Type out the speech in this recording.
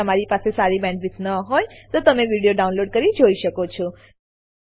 જો તમારી પાસે સારી બેન્ડવિડ્થ ન હોય તો તમે વિડીયો ડાઉનલોડ કરીને જોઈ શકો છો